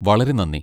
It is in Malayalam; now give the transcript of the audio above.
വളരെ നന്ദി!